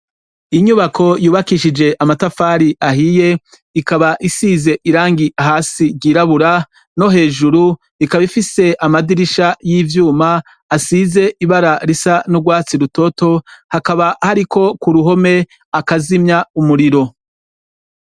inyubako yubakishije amatafari ahiye ikaba isize irangi hasi ry'irabura no hejuru ikaba ifise amadirisha y'ivyuma asize ibara risa n'urwatsi rutoto hakaba hari ko ku ruhome akazimya umuriro